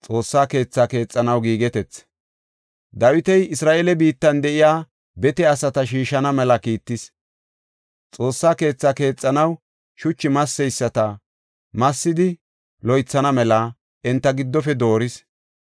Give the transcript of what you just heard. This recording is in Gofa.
Dawiti Isra7eele biittan de7iya bete asata shiishana mela kiittis. Xoossa keetha keexanaw shuchu masseysati massidi loythana mela enta giddofe dooris.